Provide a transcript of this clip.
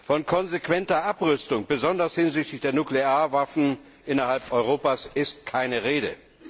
Von konsequenter Abrüstung, besonders hinsichtlich der Nuklearwaffen innerhalb Europas, ist keine Rede.